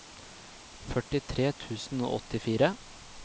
førtitre tusen og åttifire